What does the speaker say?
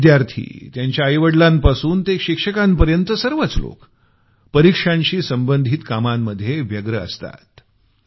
विद्यार्थी त्यांच्या आईवडलांपासून ते शिक्षकांपर्यंत सर्वच लोक परीक्षांशी संबंधित कामांमध्ये व्यस्त असतात